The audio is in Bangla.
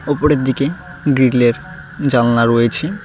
ওপরের দিকে গ্রিল -এর জানালা রয়েছে।